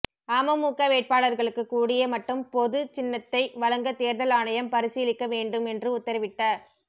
அமமுக வேட்பாளர்களுக்கு கூடிய மட்டும் பொது சின்னத்தை வழங்க தேர்தல் ஆணையம் பரிசீலிக்க வேண்டும் என்று உத்தரவிட்ட